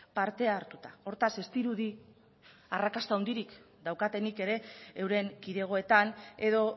parte hartuta hortaz ez dirudi arrakasta handirik daukatenik ere euren kidegoetan edo